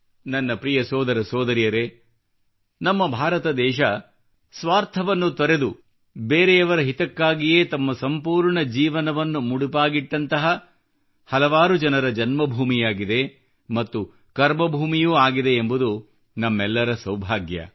ನನ್ನ ಪ್ರಿಯ ಸೋದರ ಸೋದರಿಯರೇ ನಮ್ಮ ಭಾರತ ದೇಶ ಸ್ವಾರ್ಥವನ್ನು ತೊರೆದು ಬೇರೆಯವರ ಹಿತಕ್ಕಾಗಿಯೇ ತಮ್ಮ ಸಂಪೂರ್ಣ ಜೀವನವನ್ನು ಮುಡಿಪಾಗಿಟ್ಟಂತಹ ಹಲವಾರು ಜನರ ಜನ್ಮಭೂಮಿಯಾಗಿದೆ ಮತ್ತು ಕರ್ಮಭೂಮಿಯೂ ಆಗಿದೆ ಎಂಬುದು ನಮ್ಮೆಲ್ಲರ ಸೌಭಾಗ್ಯ